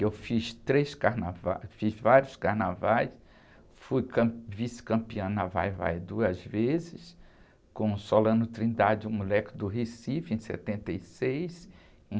Eu fiz três carnavais, fiz vários carnavais, fui cam, vice-campeã na Vai-vai duas vezes, com Solano Trindade, um moleque do Recife, em setenta e seis, e